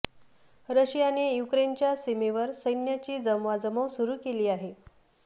रशियाने युक्रेनच्या सीमेवर सैन्याची जमवाजमव सुरू केली आहे